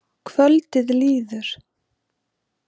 Kvöldið líður.